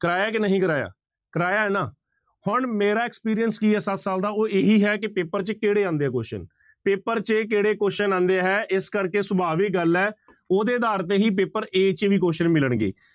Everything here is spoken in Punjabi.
ਕਰਵਾਇਆ ਕਿ ਨਹੀਂ ਕਰਵਾਇਆ, ਕਰਵਾਇਆ ਹੈ ਨਾ ਹੁਣ ਮੇਰਾ experience ਕੀ ਹੈ ਸੱਤ ਸਾਲ ਦਾ ਉਹ ਇਹੀ ਹੈ ਕਿ ਪੇਪਰ ਚ ਕਿਹੜੇ ਆਉਂਦੇ ਹੈ question ਪੇਪਰ ਚ ਕਿਹੜੇ question ਆਉਂਦੇ ਹੈ ਇਸ ਕਰਕੇ ਸੁਭਾਵਿਕ ਗੱਲ ਹੈ ਉਹਦੇ ਆਧਾਰ ਤੇ ਹੀ ਪੇਪਰ a ਚ ਵੀ question ਮਿਲਣਗੇ